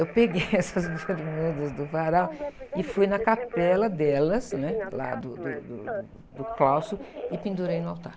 Eu peguei essas bermudas do varal e fui na capela delas, né? Lá do, do, do, do, do claustro, e pendurei no altar.